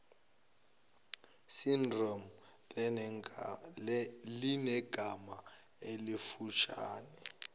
syndrome linegama elifushane